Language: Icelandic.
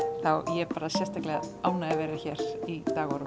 ég er sérstaklega ánægð að vera hér í dag og